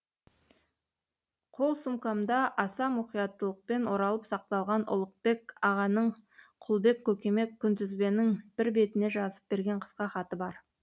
қол сумкамда аса мұқияттылықпен оралып сақталған ұлықбек ағаның құлбек көкеме күнтізбенің бір бетіне жазып берген қысқа хаты бар